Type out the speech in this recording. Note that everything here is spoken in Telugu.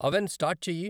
అవెన్ స్టార్ట్ చెయ్యి.